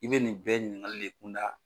I bɛ nin bɛɛ ɲinkali le kunda